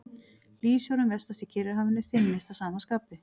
Hlýsjórinn vestast í Kyrrahafinu þynnist að sama skapi.